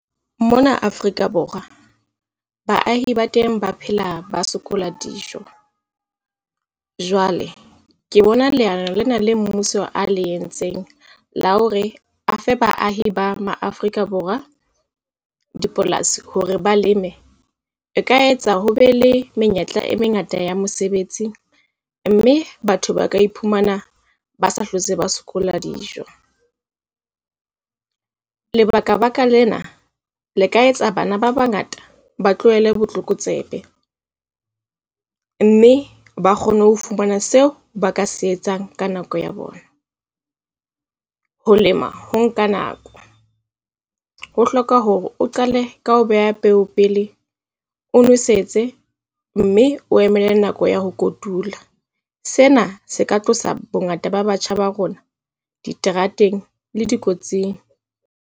Mona Afrika Borwa baahi ba teng ba phela ba sokola dijo. Jwale ke bona leano lena la mmuso a le entseng la hore a fe baahi ba dipolasi hore ba leme, e ka etsa ho be le menyetla e mengata ya mosebetsi, mme batho ba ka iphumana ba sa hlotse ba sokola dijo. Lebaka baka lena le ka etsa bana ba bangata ba tlohele botlokotsebe mme ba kgone ho fumana seo ba ka se etsang ka nako ya bona. Ho lema ho nka nako ho hloka hore o qale ka ho beha peo pele, o nwesetse mme o emele nako ya ho kotula. Sena se ka tlosa bongata ba batjha ba rona diterateng le dikotsing.